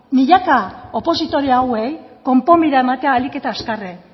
milaka opositore hauei konponbidea ematea ahalik eta azkarren